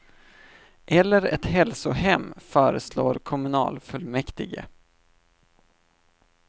Eller ett hälsohem, föreslår kommunalfullmäktige.